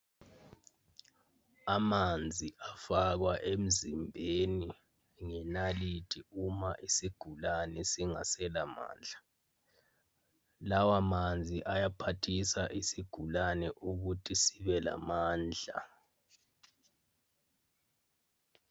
Amanzi afakwa emzimbeni ngenalithi uma isigulane singaselamandla. Lawa manzi ayaphathisa isigulane ukuthi sibe lamandla.